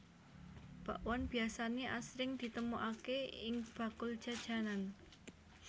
Bakwan biasané asring ditemokaké ing bakul jajanan